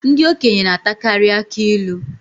Ndị okenye na-atakarị akụ ilu